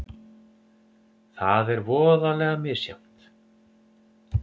Það er voðalega misjafnt.